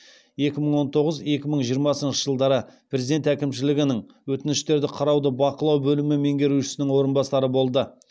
екі мың он тоғыз екі мың жиырмасыншы жылдары президент әкімшілігінің өтініштерді қарауды бақылау бөлімі меңгерушісінің орынбасары болды